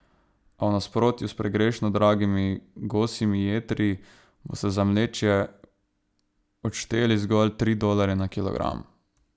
A v nasprotju s pregrešno dragimi gosjimi jetri boste za mlečje odšteli zgolj tri dolarje na kilogram.